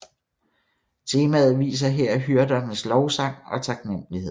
Temaet viser her hyrdernes lovsang og taknemmelighed